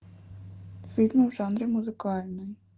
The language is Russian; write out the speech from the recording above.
фильм в жанре музыкальный